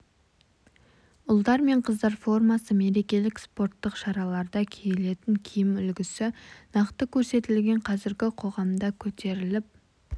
ұлдар мен қыздар формасы мерекелік спорттық шараларда киілетін киім үлгісі нақты көрсетілген қазіргі қоғамда көтеріліп